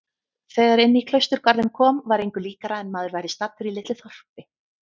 Þegar inní klausturgarðinn kom var engu líkara en maður væri staddur í litlu þorpi.